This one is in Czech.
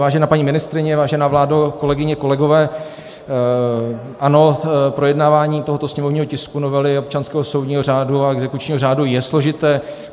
Vážená paní ministryně, vážená vládo, kolegyně, kolegové, ano, projednávání tohoto sněmovního tisku, novely občanského soudního řádu a exekučního řádu, je složité.